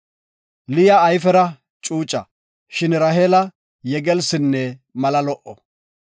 Liya ayfera cuuca, shin Raheela yegelsinne mala lo77o.